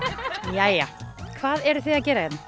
jæja hvað eruð þið að gera hérna